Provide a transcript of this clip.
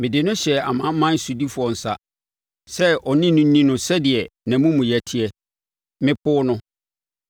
mede no hyɛɛ amanaman sodifoɔ nsa, sɛ ɔne no nni no sɛdeɛ nʼamumuyɛ teɛ. Mepoo no,